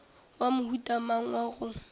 wa mohuta mang wa go